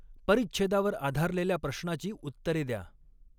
परिच्छेदावर आधारलेल्या प्रश्नाची उत्तरे द्या.